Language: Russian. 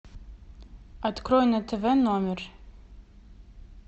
открой на тв номер